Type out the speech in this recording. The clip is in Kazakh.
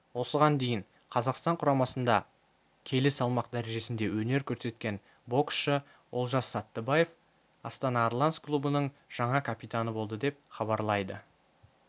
осыған дейін қазақстан құрамасында келі салмақ дәрежесінде өнер көрсеткен боксшы олжас саттыбаев астана арланс клубының жаңа капитаны болды деп хабарлайды